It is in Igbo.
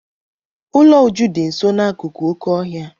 Ụlọ Uju dị nso akụkụ oké ọhịa.